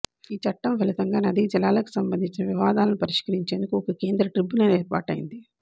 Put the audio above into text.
ఈ చట్టం ఫలితంగా నదీ జలాలకు సంబంధించిన వివాదాలను పరిష్కరించేందుకు ఒక కేంద్ర ట్రిబ్యునల్ ఏర్పాటైంది